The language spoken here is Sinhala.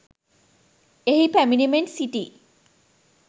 එහි පැමිණෙමින් සිටි